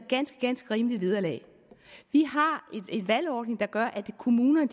ganske ganske rimeligt vederlag vi har en valgordning der gør at kommunerne